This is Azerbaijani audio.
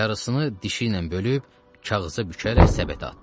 Yarısını dişi ilə bölüb kağıza bükərək səbətə atdı.